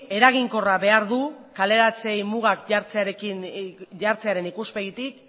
eraginkorra behar du kaleratze mugak jartzearen ikuspegitik